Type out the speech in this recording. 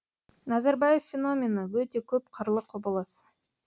назарбаев феномені өте көп қырлы құбылыс